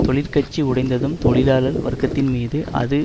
தொழிற்கட்சி உடைந்ததும் தொழிலாளர் வர்க்கத்தின்மீது அது